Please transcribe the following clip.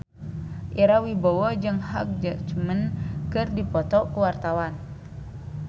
Ira Wibowo jeung Hugh Jackman keur dipoto ku wartawan